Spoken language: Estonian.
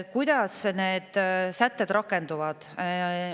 Kuidas need sätted rakenduvad?